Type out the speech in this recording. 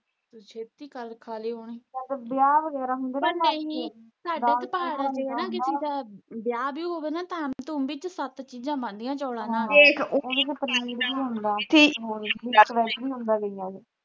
ਪਰ ਨਹੀਂ ਸਾਡੇ ਤੇ ਪਹਾੜਾਂ ਵਿੱਚ ਕਿਸੇ ਦਾ ਵਿਆਹ ਵਿਉਹ ਹੋਵੇ ਤਾਂ ਥਾਮ ਥੁਮ ਵਿੱਚ ਸੱਤ ਚੀਜਾਂ ਬਣਦੀਆਂ ਚੋਲਾ ਨਾਲ